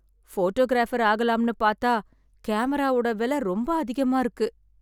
Photographer ஆகலாம்னு பாத்தா கேமராவோட வெல ரொம்ப அதிகமா இருக்கு.